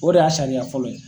O de y'a sariya fɔlɔ ye.